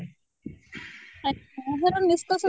ଅ ହର ନିଷ୍କର୍ଷ